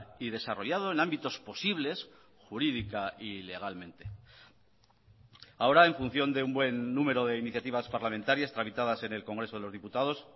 y desarrollado en ámbitos posibles jurídica y legalmente ahora en función de un buen número de iniciativas parlamentarias tramitadas en el congreso de los diputados